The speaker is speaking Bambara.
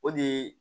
O de ye